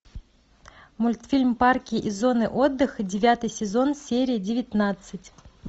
мультфильм парки и зоны отдыха девятый сезон серия девятнадцать